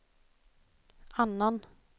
annan